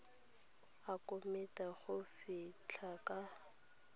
a komiti go fitlha ka